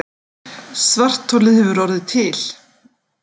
Svartholið hefur orðið til.